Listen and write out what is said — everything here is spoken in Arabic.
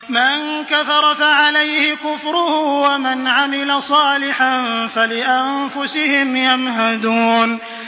مَن كَفَرَ فَعَلَيْهِ كُفْرُهُ ۖ وَمَنْ عَمِلَ صَالِحًا فَلِأَنفُسِهِمْ يَمْهَدُونَ